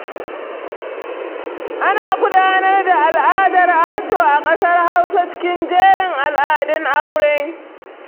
Ana gudanar da al'adar ajo a ƙasar Hausa cikin jerin al'adun aure.